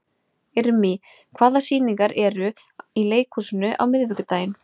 Irmý, hvaða sýningar eru í leikhúsinu á miðvikudaginn?